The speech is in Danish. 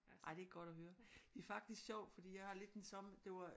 Ej det er godt at høre det er faktisk sjovt fordi jeg har lidt den samme det var